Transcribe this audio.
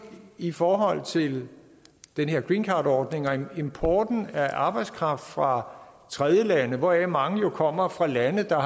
i forhold til den her greencardordning og importen af arbejdskraft fra tredjelande hvoraf mange jo kommer fra lande der